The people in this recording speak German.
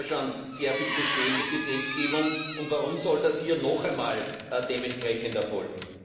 Wir haben ja schon sehr viel bestehende Gesetzgebung, warum soll das hier noch einmal dementsprechend erfolgen?